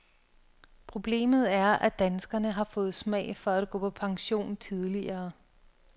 Problemet er, at danskerne har fået smag for at gå på pension tidligere.